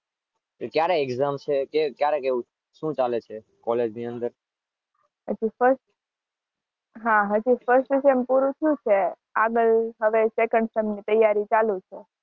ક્યારે એક્જામ છે? શું ચાલે છે? કોલેજની અંદર?